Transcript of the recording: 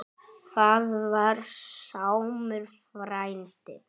Það var Sámur frændi.